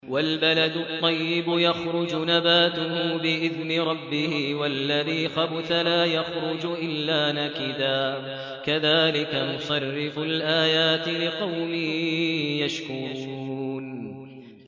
وَالْبَلَدُ الطَّيِّبُ يَخْرُجُ نَبَاتُهُ بِإِذْنِ رَبِّهِ ۖ وَالَّذِي خَبُثَ لَا يَخْرُجُ إِلَّا نَكِدًا ۚ كَذَٰلِكَ نُصَرِّفُ الْآيَاتِ لِقَوْمٍ يَشْكُرُونَ